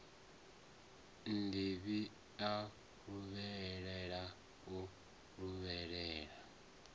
nnḓivhi a luvhelela o luvhelela